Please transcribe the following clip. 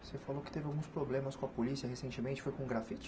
Você falou que teve alguns problemas com a polícia recentemente, foi com grafite?